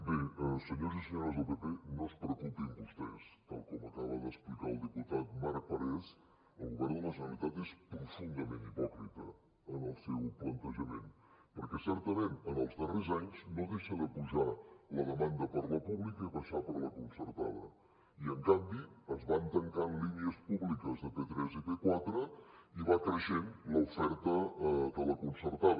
bé senyors i senyores del pp no es preocupin vostès tal com acaba d’explicar el diputat marc parés el govern de la generalitat és profundament hipòcrita en el seu plantejament perquè certament en els darrers anys no deixa de pujar la demanda per la pública i baixar per la concertada i en canvi es van tancant línies públiques de p3 i p4 i va creixent l’oferta de la concertada